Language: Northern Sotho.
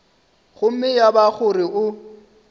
gomme ya ba gore o